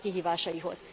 század kihívásaihoz.